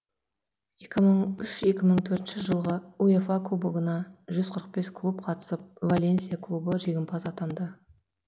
екі мың үш екі мың төртінші жылғы уефа кубогына жүз қырық бес клуб қатысып валенсия клубы жеңімпаз атанды